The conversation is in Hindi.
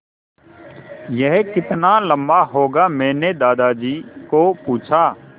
यह कितना लम्बा होगा मैने दादाजी को पूछा